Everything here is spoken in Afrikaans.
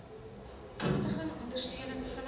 vestiging ondersteuning vinniger